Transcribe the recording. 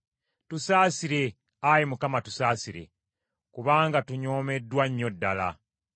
Tusaasire, Ayi Mukama , tusaasire, kubanga tunyoomeddwa nnyo ddala.